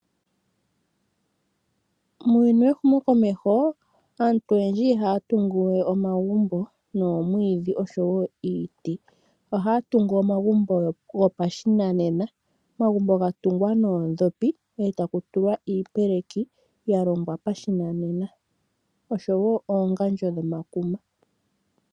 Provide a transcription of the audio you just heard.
Muuyuni wehumokomeho aantu oyendji ihaya tungu we omagumbo nomwiidhi oshowo iiti ashike ohaya tungu omagumbo gopashinanena ga tungwa noondhopi e taku tulwa iipeleki ya longwa pashinanena oshowo oongandjo dhomakuma.